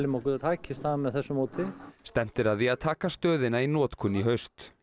okkur takist það með þessu móti stefnt er að því að taka stöðina í notkun í haust